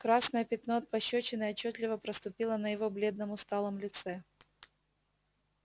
красное пятно от пощёчины отчётливо проступило на его бледном усталом лице